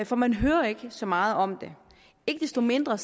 for man hører ikke så meget om det ikke desto mindre